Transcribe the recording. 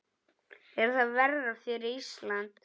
Er það verra fyrir Ísland?